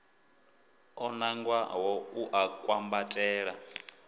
o nangwaho u a kwambatela